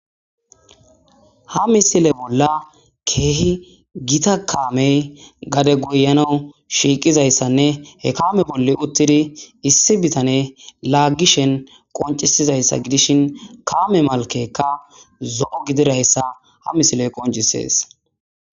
ha misile bolla keehi gita kaamey gade goyanau shiiqizayssanne he kaame bolle uttidi issi bitane laaggishen qoncisizayssa gidishin kaame malkeka zo7o gidirayssa ha misiley qoncisees